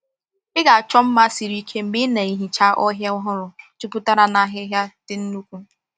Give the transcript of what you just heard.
Ị ga-achọ mma siri ike mgbe ị na-ehicha ọhịa ọhụrụ jupụtara n’ahịhịa ndị nnukwu.